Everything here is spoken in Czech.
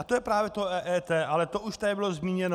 A to je právě to EET, ale to už tady bylo zmíněno.